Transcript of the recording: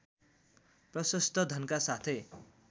प्रशस्त धनका साथै